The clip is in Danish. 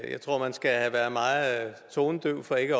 jeg tror at man skal være meget tonedøv for ikke